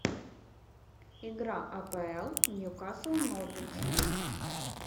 игра апл ньюкасл норвич